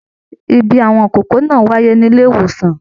Ìbí àwọn ìkókó náà wáyé nílé ìwòsàn.